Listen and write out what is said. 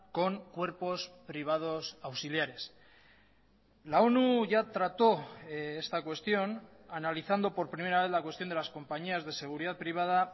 con cuerpos privados auxiliares la onu ya trató esta cuestión analizando por primera vez la cuestión de lascompañías de seguridad privada